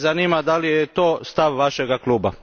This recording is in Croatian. Mene zanima da li je to stav vašeg kluba?